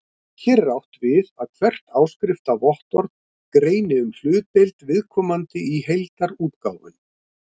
Hér er átt við að hvert áskriftarvottorð greini um hlutdeild viðkomandi í heildarútgáfunni.